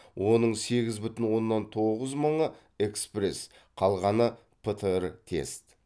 оның сегіз бүтін оннан тоғыз мыңы экспресс қалғаны птр тест